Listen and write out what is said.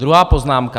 Druhá poznámka.